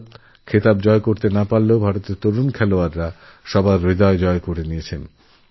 ভারত খেতাব না জিততে পারলেওভারতের খেলোয়াড়রা সকলের মন জয় করে নিয়েছে